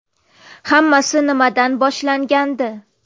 Hammasi nimadan boshlangandi?